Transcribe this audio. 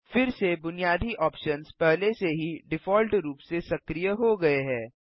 फिर से बुनियादी ऑप्शन्स पहले से ही डिफ़ॉल्ट रूप से सक्रिय हो गये हैं